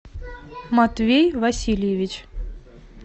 матвей васильевич